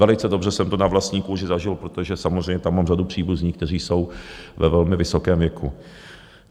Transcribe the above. Velice dobře jsem to na vlastní kůži zažil, protože samozřejmě tam mám řadu příbuzných, kteří jsou ve velmi vysokém věku.